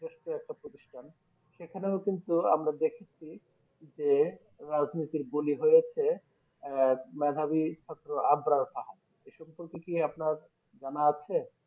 একটা প্রতিষ্ঠান সেখানেও কিন্তু আমরা দেখেছি যে রাজনীতির বলি হয়েছে আহ মেধাবী ছাত্র আদ্রান সাহান এ সম্পর্কে কি আপনার জানা আছে?